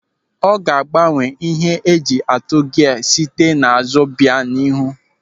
Ọ ga-agbanwe ihe eji atụ gia site n'azụ bịa n'ihu.